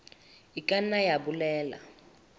e ka nna ya bolela